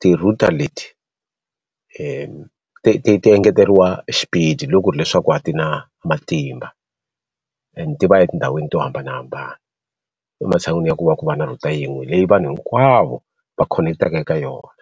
ti-router leti ti ti ti ti engeteriwa xipidi loko ku ri hileswaku a ti na matimba and ti va etindhawini to hambanahambana. Ematshan'wini ya ku va ku va na router yin'we leyi vanhu hinkwavo va khoneketaka eka yona.